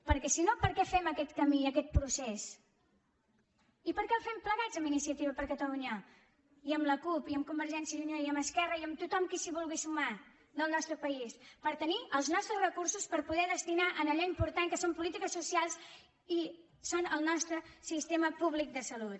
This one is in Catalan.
perquè si no per què fem aquest camí i aquest procés i per què el fem plegats amb iniciativa per catalunya i amb la cup i amb convergència i unió i amb esquerra i amb tothom qui s’hi vulgui sumar del nostre país per tenir els nostres recursos per poder los destinar a allò important que són les polítiques socials i és el nostre sistema públic de salut